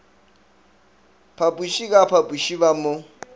phapoše ka phapoše ba mo